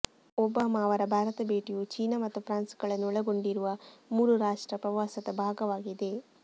Obama ಅವರ ಭಾರತ ಭೇಟಿಯು ಚೀನಾ ಮತ್ತು ಫ್ರಾನ್ಸ್ಗಳನ್ನು ಒಳಗೊಂಡಿರುವ ಮೂರು ರಾಷ್ಟ್ರ ಪ್ರವಾಸದ ಭಾಗವಾಗಿದೆ